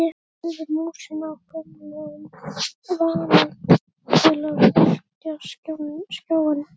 Hreyfði músina af gömlum vana til að virkja skjáinn.